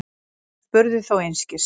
Hún spurði þó einskis.